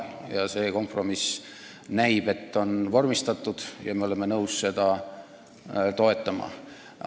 Näib, et see kompromiss on vormistatud, ja me oleme nõus seda toetama.